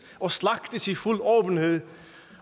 og slagtes i fuld åbenhed